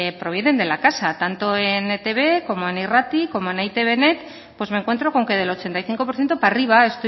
pues provienen de la casa tanto en etb como en irrati como en eitbnet pues me encuentro con que del ochenta y cinco por ciento para arriba